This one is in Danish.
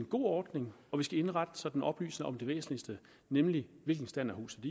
god ordning og vi skal indrette så den oplyser om det væsentligste nemlig hvilken stand huset